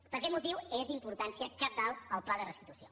per aquest motiu és d’importància cabdal el pla de restitució